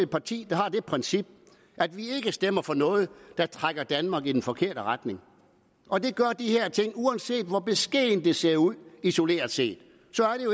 parti der har det princip at vi ikke stemmer for noget der trækker danmark i den forkerte retning og det gør de her ting uanset hvor beskedent det ser ud isoleret set